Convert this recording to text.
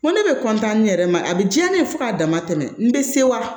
Ko ne bɛ ne yɛrɛ ma a bɛ diya ne ye fo k'a dama tɛmɛ n bɛ se wa